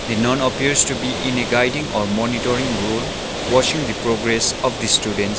the nun appears to be in a guiding or monitoring role watching the progress of the students.